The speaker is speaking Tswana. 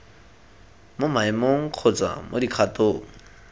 mo maemong kgotsa mo dikgatong